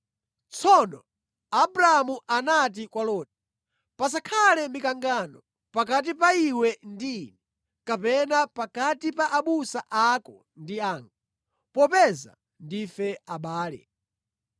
Tsono Abramu anati kwa Loti, “Pasakhale mikangano pakati pa iwe ndi ine kapena pakati pa abusa ako ndi anga, popeza ndife abale.